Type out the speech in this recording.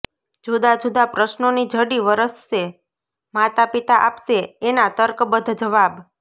જુદા જુદા પ્રશ્નોની ઝડી વરસશેઃ માતા પિતા આપશે એના તર્ક બદ્ધ જવાબ